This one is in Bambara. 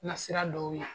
Na sira dɔw la